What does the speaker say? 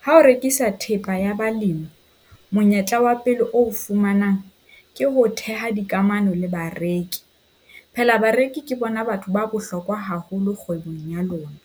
Ha o rekisa thepa ya balemi, monyetla wa pele oo o fumanang ke ho theha dikamano le bareki. Phela bareki ke bona batho ba bohlokwa haholo kgwebong ya lona.